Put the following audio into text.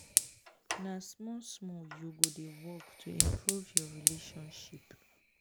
na small-small you go dey work to improve your relationship.